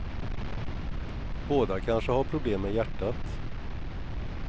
Båda kanske har problem med hjärtat.